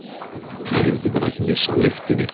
Ég vildi bara ekki missa af lyftunni!